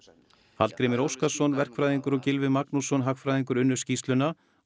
Hallgrímur Óskarsson verkfræðingur og Gylfi Magnússon hagfræðingur unnu skýrsluna og